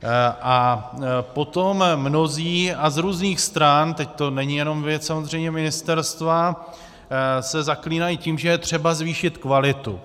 A potom mnozí a z různých stran, teď to není jenom věc samozřejmě ministerstva, se zaklínají tím, že je třeba zvýšit kvalitu.